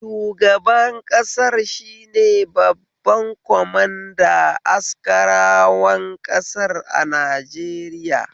Shugaban ƙasar shine babban kwamanda askarawan ƙasar a Najeriya